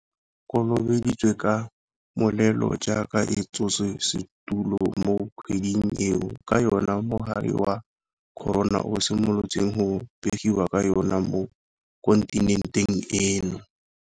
Naga ya rona e kolobeditswe ka molelo jaaka e tshotse setulo mo kgweding eo ka yona mogare wa corona o simolotseng go begiwa ka yona mo kontinenteng eno.